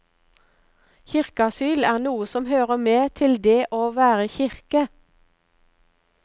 Kirkeasyl er noe som hører med til det å være kirke.